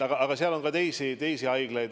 Aga on ka teisi haiglaid.